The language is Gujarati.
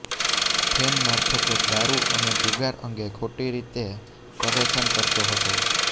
ફેન મારફતે દારૂ અને જુગાર અંગે ખોટી રીતે પરેશાન કરતો હતો